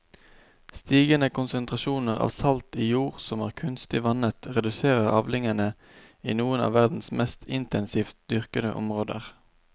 Stigende konsentrasjoner av salt i jord som er kunstig vannet reduserer avlingene i noen av verdens mest intensivt dyrkede områder.